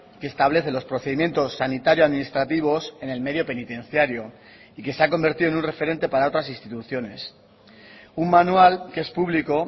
que establece los procedimientos sanitario administrativos en el medio penitenciario y que se ha convertido en un referente para otras instituciones un manual que es público